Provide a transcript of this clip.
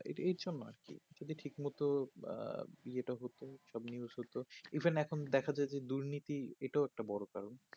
এইজন্য আর কি যদি ঠিক মতো আঃ বিচার টা হতো সব news হতো দেখা যাচ্ছে দুর্নীতি এটাও একটা বড়ো কারণ